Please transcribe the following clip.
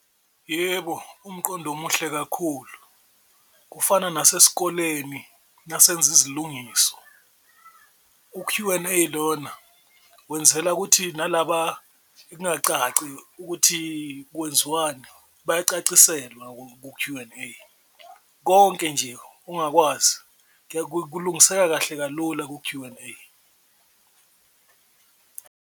Yebo, umqondo omuhle kakhulu kufana nasesikoleni nasenza izolungiso u-Q and A ilona wenzela ukuthi nalaba engacaci ukuthi kwenziwani, bayacaciselwa ku-Q and A konke nje ongakwazi kulungiseka kahle kalula ku-Q and A.